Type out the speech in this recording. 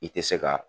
I tɛ se ka